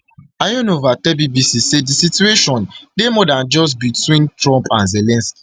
ionova ionova tell bbc say di situation dey more dan just between trump and zelensky